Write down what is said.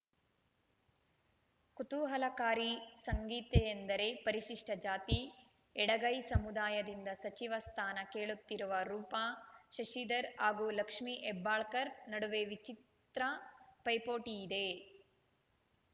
ಕುತೂಹಲಕಾರಿ ಸಂಗೀತೆಯೆಂದರೆ ಪರಿಶಿಷ್ಟಜಾತಿ ಎಡಗೈ ಸಮುದಾಯದಿಂದ ಸಚಿವ ಸ್ಥಾನ ಕೇಳುತ್ತಿರುವ ರೂಪಾ ಶಶಿಧರ್‌ ಹಾಗೂ ಲಕ್ಷ್ಮೀ ಹೆಬ್ಬಾಳ್ಕರ್‌ ನಡುವೆ ವಿಚಿತ್ರ ಪೈಪೋಟಿಯಿದೆ ಸಂಗೀತೆಯೆಂದರೆ